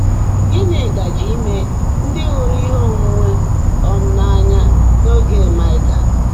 Gị́ní gáàjé íme ndị́ hụ́ụ́rụ́ íhe óńwúńwé um n’áńyá n’óge Máịkà?